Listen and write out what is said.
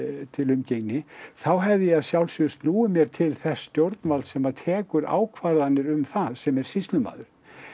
til umgengni þá hefði ég að sjálfsögðu snúið mér til þess stjórnvalds sem að tekur ákvarðanir um það sem er sýslumaður